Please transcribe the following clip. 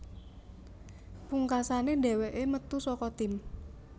Pungkasane dheweke metu saka tim